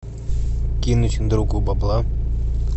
кинуть другу бабла